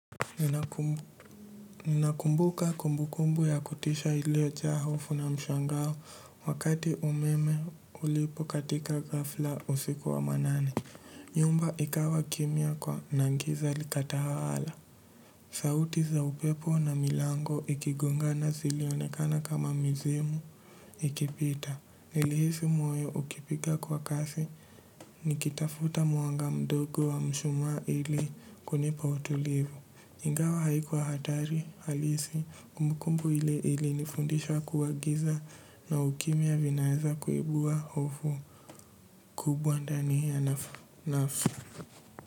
Ninakumbuka kumbukumbu ya kutisha iliojaa hofu na mshangao wakati umeme ulipokatika gafla usiku wa manane. Nyumba ikawa kimya kwa na giza likatawala. Sauti za upepo na milango ikigongana zilionekana kama mizimu ikipita. Nilihisi moyo ukipiga kwa kasi nikitafuta mwanga mdogo wa mshumaa ili kunipa utulivu. Ngao haikuwa hatari halisi kumbukumbu ili ili nifundishwa kuwa giza na ukimya vinaeza kuibua hofu kubwa ndani ya nafu nafu.